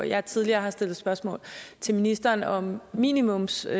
jeg har tidligere stillet spørgsmål til ministeren om minimumspris